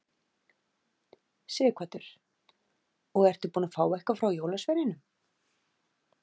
Sighvatur: Og ertu búinn að fá eitthvað frá jólasveininum?